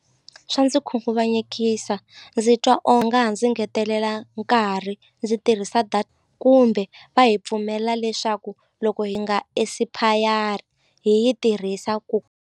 Swa ndzi khunguvanyekisa ndzi twa ha ndzi ngetelela nkarhi ndzi tirhisa kumbe va hi pfumelela leswaku loko hi nga hi yi tirhisa ku.